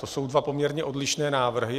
To jsou dva poměrně odlišné návrhy.